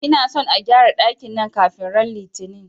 Ina son a gƴara dakin nan kafin ran Litini!